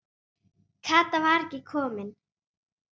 Kata var ekki komin.